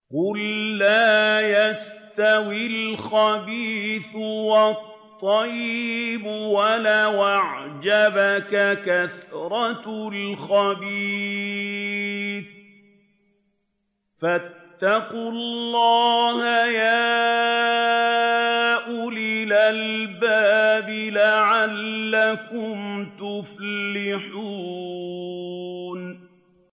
قُل لَّا يَسْتَوِي الْخَبِيثُ وَالطَّيِّبُ وَلَوْ أَعْجَبَكَ كَثْرَةُ الْخَبِيثِ ۚ فَاتَّقُوا اللَّهَ يَا أُولِي الْأَلْبَابِ لَعَلَّكُمْ تُفْلِحُونَ